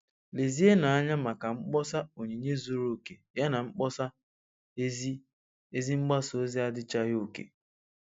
Lezienụ anya maka mkpọsa 'Onyinye zuru oke' yana mkpọsa ‘ Ezi Ezi mgbasa ozi adịchaghị oke